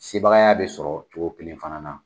Sebagaya bɛ sɔrɔ cogo kelen fana na.